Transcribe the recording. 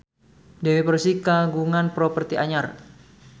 Dewi Persik kagungan properti anyar